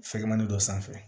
Fɛkɛmani dɔ sanfɛ